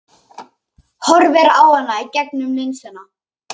Horfir á hana í gegnum linsuna.